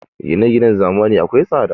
Gine-ginen zamanin nan akwai tsada.